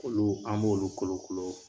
Olu an b'olu kolokolo